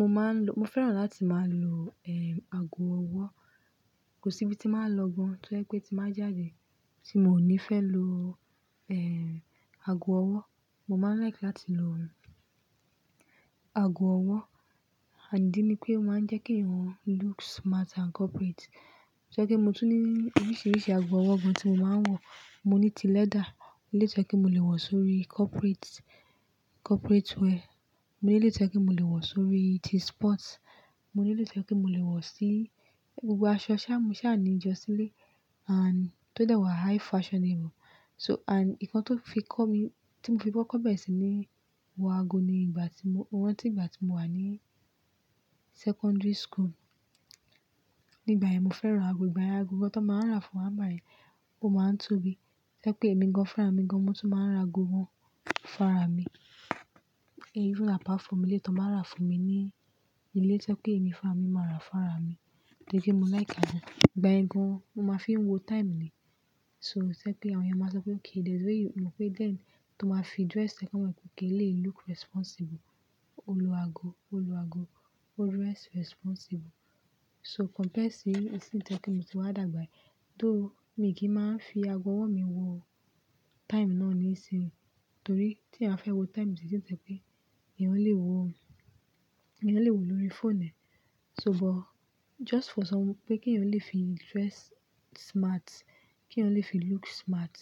Mo máa ń lo-- mo fẹ́ràn láti máa lo, eh, ago ọwọ́. Kò sí ibi tí máa ń lọ gan, tó jẹ pé tí bá ń jáde tí mò ní fẹ́ lo, eh, ago ọwọ́. Mo máa ń like láti lo, eh, ago ọwọ́ ìdí ni pé ó máa ń jẹ́ kí èèyàn looks smart and corporate. Tó jẹ kí mo tún ní oríṣiríṣi ago ọwọ́ gan tí mo máa ń wọ̀. Mo ní ti leather, eléyìí tó jẹ́ pé mo lè wọ̀ sórí corporate, corporate wear. Mo ní eléyìí tó jẹ́ kí mo lè wọ̀ sórí ti sports. Mo ní eléyìí tó jẹ́ pé mo lè wọ̀ sí gbogbo aṣọ ṣáá ni mo sáà ní jọ silé and tó dẹ̀ wà high fashion rírun. So and nǹkan tó fi kọ́ mi, tí mo fi kọ́ kọ́ bẹ́ẹ̀ sì ni wọ ago ní ìgbà tí mo-- mo rántí ìgbà tí mo wà ní secondary school. Nígbà yẹn, mo fẹ́ràn ago. Ìgbà yẹn, ago kan tán máa ń rà fún wá nìgbà yẹn ó máa ń tóbi. Tó jẹ́ pé èmi gan, fúnra ara mí gan, mo tún máa ń ra ago gan fúnra fára mi. Even apart from eléyìí tán máa ń rà fún mi ní ilé, tí jẹ́ pé èmi fúnra fára mi, máa rà fún ara mi. Kì í ṣe pé mo like ago. Ìgbà ẹgun, mo máa ń fi ń wo time ni. To jẹ́ pé àwọn èèyàn máa sọ pé, "Okay, there is a way you lo pé then tó máa fi dress ṣe kí wọ́n lè kọ́lé, look responsible." Ó lo ago, ó lo ago, o dress responsible. So compared sí Isin yìí tó jẹ́ pé mo ti wá dàgbà, tó mi kì í máa ń fi ago ọwọ́ mi wo time náà nísìnyí. Torí tí èèyàn bá fẹ́ wo time sì tí tẹ́lẹ̀ pé ìyẹn lè wo, ìyẹn lè wo lórí fóònù. So but just for some-- pé kí ẹ̀yàn lè fi dress smart, kí èèyàn lè fi look smart,